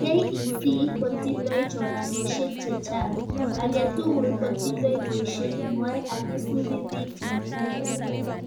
KEC kotindoi choranoshek chechang. aketugul kotindoi boishiet nway ak isubi bik chemakrake